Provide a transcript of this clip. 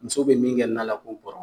Musow be min kɛ na la ko nbɔrɔn